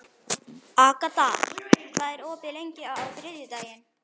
Agata, hvað er opið lengi á þriðjudaginn?